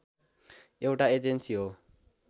एउटा एजेन्सी हो